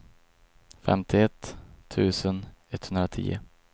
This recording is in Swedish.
femtioett tusen etthundratio